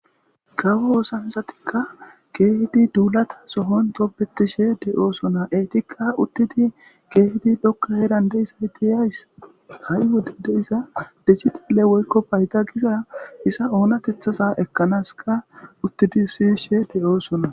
Kawo ossanchatika kehidi duulatason tobetishshe de'ossona eetika utidi kehi dhoqa heeran deizayti hayssa haii wodey diiza dijjitale woykko payida giiza oonatethaza ekanas uttidi siyishshe deo'ossona.